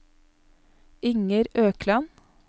Inger Økland